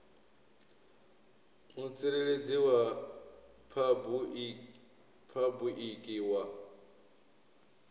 mutsireledzi wa phabu iki wa